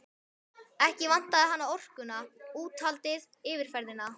Ekki vantaði hana orkuna, úthaldið, yfirferðina.